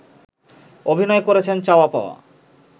অভিনয় করেছেন চাওয়া পাওয়া